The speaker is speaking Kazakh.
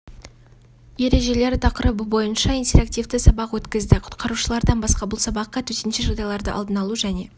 ережелері тақырыбы бойынша интерактивті сабақ өткізді құтқарушылардан басқа бұл сабаққа төтенше жағдайларды алдын алу және